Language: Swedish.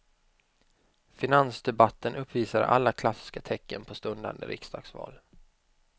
Finansdebatten uppvisade alla klassiska tecken på stundande riksdagsval.